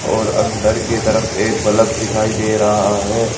और अंदर की तरफ एक बल्ब दिखाई दे रहा है।